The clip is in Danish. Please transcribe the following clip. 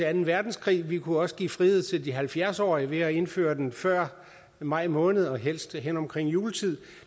anden verdenskrig vi kunne også give frihed til de halvfjerds årige ved at indføre den før maj måned og helst hen omkring juletid